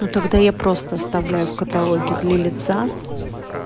ну тогда я просто оставляю в каталоге для лица